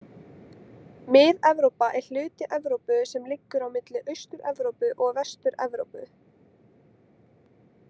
Mið-Evrópa er hluti Evrópu sem liggur á milli Austur-Evrópu og Vestur-Evrópu.